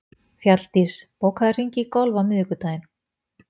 Fjalldís, bókaðu hring í golf á miðvikudaginn.